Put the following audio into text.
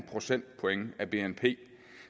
procentpoint af bnp